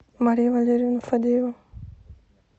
мария валерьевна фадеева